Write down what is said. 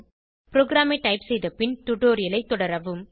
ப்ரோகிராமை டைப் செய்த பின் டுடோரியலைத் தொடரவும்